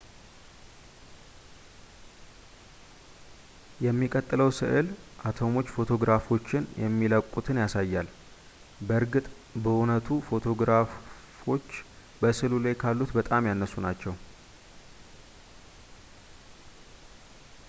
የሚቀጥለው ስዕል አተሞች ፎቶግራፎችን የሚለቁትን ያሳያል በእርግጥ በእውነቱ ፎቶግራፎች በስዕሉ ላይ ካሉት በጣም ያነሱ ናቸው